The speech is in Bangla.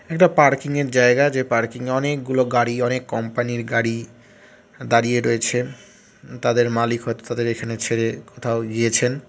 একটা পার্কিং এর জায়গা যে পার্কিং এ অনেকগুলো গাড়ি অনেক কম্পানি এর গাড়ি দাঁড়িয়ে রয়েছে তাদের মালিক হয়তো তাদের এখানে ছেড়ে কোথাও গিয়েছেন।